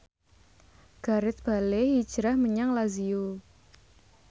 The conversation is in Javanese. Gareth Bale hijrah menyang Lazio